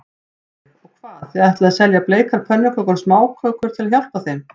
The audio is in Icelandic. Sólveig: Og hvað, þið ætlið að selja bleikar pönnukökur og smákökur til að hjálpa þeim?